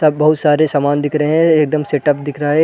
बहोत सारे सामान दिख रहे हैं एकदम सेटअप दिख रहे हैं ।